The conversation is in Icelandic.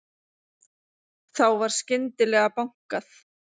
Þá var skyndilega bankað.